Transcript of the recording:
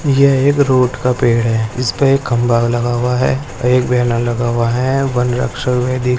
यह एक रोड का पेड़ है इसपे एक खम्बा लगा हुआ है एक ब्यानर लगा हुआ है वनरक्षक --